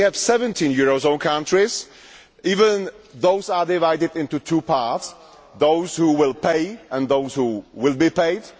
We have 17 eurozone countries and even those are divided into two parts those who will pay and those who will be paid.